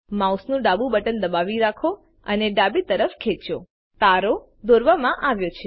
માઉસનું ડાબુ બટન દબાવી રાખો અને ડાબી તરફ ખેંચો તારો દોરવામાં આવ્યો છે